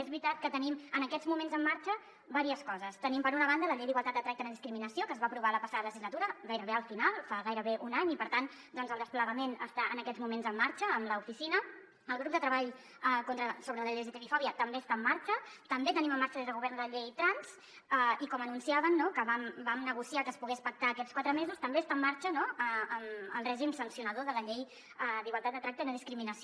és veritat que tenim en aquests moments en marxa diverses coses tenim per una banda la llei d’igualtat de tracte i no discriminació que es va aprovar la passada legislatura gairebé al final fa gairebé un any i per tant doncs el desplegament està en aquests moments en marxa amb l’oficina el grup de treball sobre l’lgtbi fòbia també està en marxa també tenim en marxa des del govern la llei trans i com anunciaven que vam negociar que es poguessin pactar aquests quatre mesos també està en marxa el règim sancionador de la llei d’igualtat de tracte i no discriminació